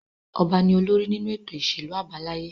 Ọba ni olórí nínú ètò ìṣèlú àbáláyé.